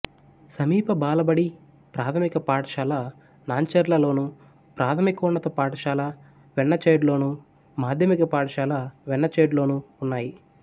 సమీప బాలబడి ప్రాథమిక పాఠశాల నాన్చెర్లలోను ప్రాథమికోన్నత పాఠశాల వెన్నచేడ్లోను మాధ్యమిక పాఠశాల వెన్నచేడ్లోనూ ఉన్నాయి